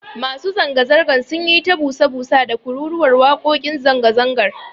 Masu zanga-zangar sun yi ta busa busa da kururuwar wakokin zanga-zangar.